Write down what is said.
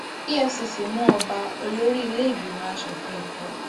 efcc mú ọba olórí iléìgbìmọ aṣòfin èkó